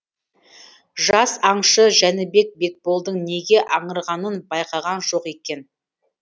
жас аңшы жәнібек бекболдың неге аңырғанын байқаған жоқ екен